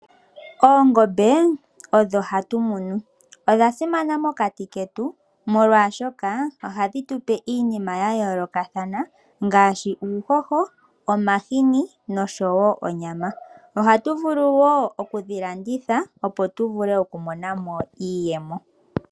Oongombe odho hatu munu. Odha simana mokati ketu molwaashoka ohadhi tupe iinima ya yolokathana ngaashi uuhoho omahini noshowo onyama. Oha tu vulu wo okudhi landitha opo tu vule oku monamo iiyemo.